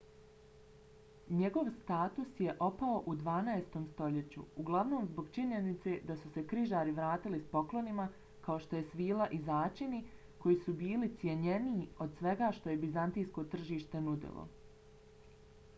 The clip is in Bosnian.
njegov status je opao u dvanaestom stoljeću uglavnom zbog činjenice da su se križari vratili s poklonima kao što je svila i začini koji su bili cjenjeniji od svega što je bizantijsko tržište nudilo